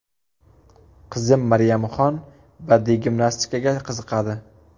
Qizim Maryamxon badiiy gimnastikaga qiziqadi.